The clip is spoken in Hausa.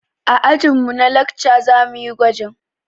A ajin mu na lakca zamuyi gwajin